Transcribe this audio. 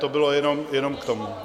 To bylo jenom k tomu.